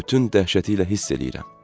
Bütün dəhşəti ilə hiss eləyirəm.